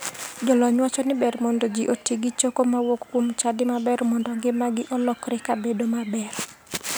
Jolony wacho ni ber mondo ji oti gi choko mawuok kuom chadi maber mondo ngimagi olokre kabedo maber.